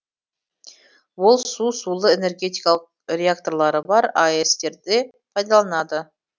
ол су сулы энергетикалық реакторлары бар аэс терде пайдаланылады